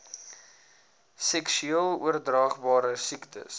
seksueel oordraagbare siektes